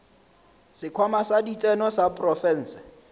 sekhwama sa ditseno sa profense